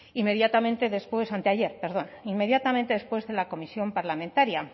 inmediatamente después anteayer perdón inmediatamente después de la comisión parlamentaria